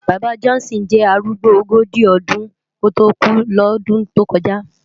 Baba Johnson jè árúgbó ógóji ódún kótó kú lòdún tó kòjá